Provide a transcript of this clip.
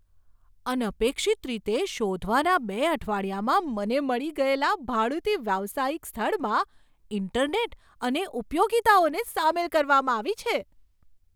અનપેક્ષિત રીતે, શોધવાના બે અઠવાડિયામાં મને મળી ગયેલા ભાડુતી વ્યવસાયિક સ્થળમાં ઇન્ટરનેટ અને ઉપયોગિતાઓને સામેલ કરવામાં આવી છે.